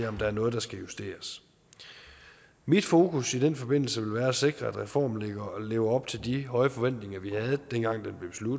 om der er noget der skal justeres mit fokus i den forbindelse vil være at sikre at reformen lever op til de høje forventninger vi havde dengang